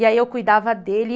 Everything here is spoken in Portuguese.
E aí eu cuidava dele.